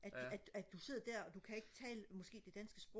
at at du sidder der og du kan ikke tale måske det danske sprog